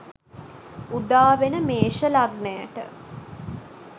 උදාවෙන මේෂ ලග්නයට